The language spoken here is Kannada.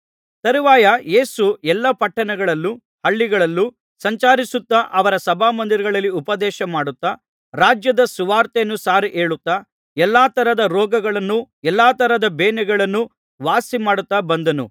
ತರುವಾಯ ಯೇಸು ಎಲ್ಲಾ ಪಟ್ಟಣಗಳಲ್ಲೂ ಹಳ್ಳಿಗಳಲ್ಲೂ ಸಂಚರಿಸುತ್ತಾ ಅವರ ಸಭಾಮಂದಿರಗಳಲ್ಲಿ ಉಪದೇಶಮಾಡುತ್ತಾ ರಾಜ್ಯದ ಸುವಾರ್ತೆಯನ್ನು ಸಾರಿ ಹೇಳುತ್ತಾ ಎಲ್ಲಾ ತರದ ರೋಗಗಳನ್ನೂ ಎಲ್ಲಾ ತರದ ಬೇನೆಗಳನ್ನೂ ವಾಸಿಮಾಡುತ್ತಾ ಬಂದನು